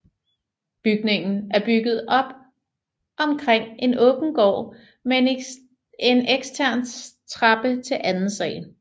Bygningen er bygget op omkring en åben gård med en ekstern trappe til anden sal